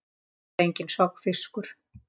Ég var enginn sogfiskur.